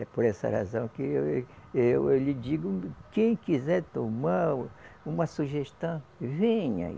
É por essa razão que eu, eu, eu lhe digo, quem quiser tomar o uma sugestão, venha aí.